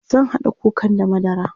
zan kaɗa kukan da madara